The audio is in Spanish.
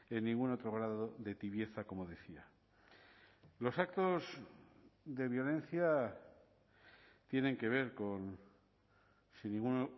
en ningún otro grado de tibieza como decía los actos de violencia tienen que ver con sin ningún